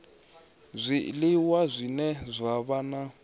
zwiliwa zwine zwa vha na